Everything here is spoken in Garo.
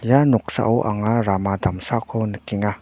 ia noksao anga rama damsako nikenga.